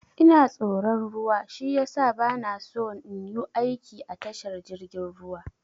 Ina tsoron ruwa shiyasa bana so in yu aiki a tashar jirgin ruwa.